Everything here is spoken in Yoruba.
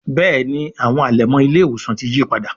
Béèni àwọn alẹmọ ile-iwosan tí yípadà.